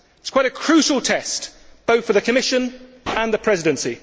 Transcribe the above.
It is a crucial test both for the Commission and the Presidency.